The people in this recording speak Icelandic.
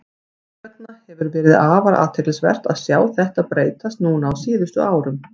Þess vegna hefur verið afar athyglisvert að sjá þetta breytast núna á síðustu árum.